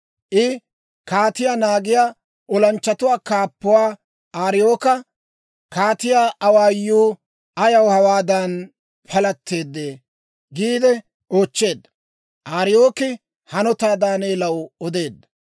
I kaatiyaa naagiyaa olanchchatuwaa kaappuwaa Ariyooka, «Kaatiyaa awaayuu ayaw hawaadan palatteedee?» giide oochcheedda. Ariyooki hanotaa Daaneelaw odeedda.